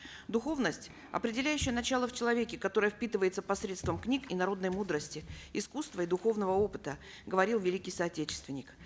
духовность определяющее начало в человеке которая впитывается посредством книг и народной мудрости искусства и духовного опыта говорил великий соотечественник